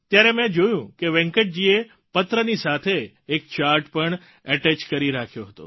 ત્યારે મેં જોયું કે વેંકટજીએ પત્રની સાથે એક ચાર્ટ પણ અટેચ કરી રાખ્યો હતો